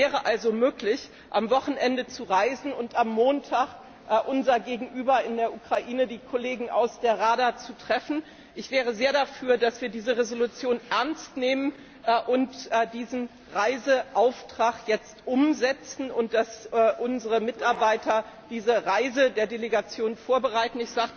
Es wäre also möglich, am Wochenende zu reisen und am Montag unser Gegenüber in der Ukraine, die Kollegen aus der Rada, zu treffen. Ich wäre sehr dafür, dass wir diese Entschließung ernst nehmen und diesen Reiseauftrag jetzt umsetzen und dass unsere Mitarbeiter diese Reise der Delegation vorbereiten.